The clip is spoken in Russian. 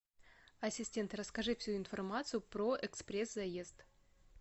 ассистент расскажи всю информацию про экспресс заезд